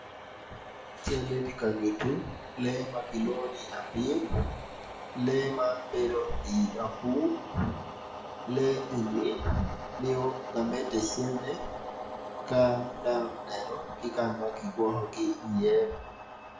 Mon man gitye ka wot dok mon man gitye gin adek kun gin weng guruko kala bongo mapadipadi kun ngat acel tye ma otingo latin i cinge kun ngat ma i dyere-ni oruko bongo ma bulu.